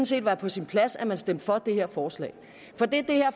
set være på sin plads at man stemte for det her forslag